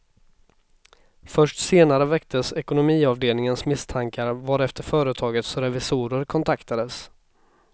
Först senare väcktes ekonomiavdelningens misstankar varefter företagets revisorer kontaktades.